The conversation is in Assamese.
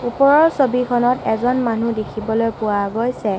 ওপৰৰ ছবিখনত এজন মানুহ দেখিবলৈ পোৱা গৈছে।